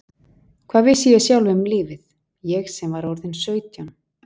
Hvað vissi ég sjálf um lífið, ég sem var orðin sautján?